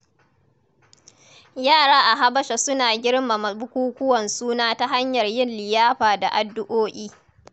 Yara a Habasha suna girmama bukukuwan suna ta hanyar yin liyafa da addu’o’i.